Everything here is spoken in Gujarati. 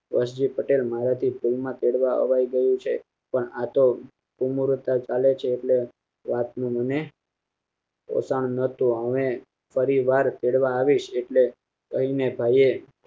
રેશજી પટેલ મારાથી ભૂલમાં તેડવા અવાય ગયું છે પણ આતો ઉમર પેટ ચાલે છે એટલે રાત નું મને રટણ નોતું અને ફરી વાર તેડવા આવીશ તેમને હવે